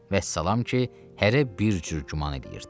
Vəssalam ki, hərə bir cür güman eləyirdi.